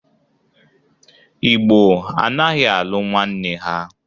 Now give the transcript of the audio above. Igbo anaghị alụ nwanne ha.